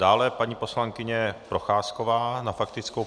Dále paní poslankyně Procházková na faktickou.